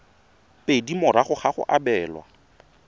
pedi morago ga go abelwa